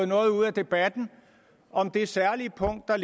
noget ud af debatten om det særlige punkt der